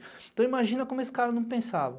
Então imagina como esse cara não pensava.